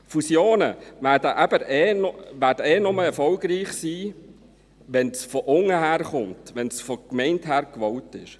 Die Fusionen werden eh nur erfolgreich sein, wenn dies von unten herkommt, wenn es von der Gemeinde hergewollt ist.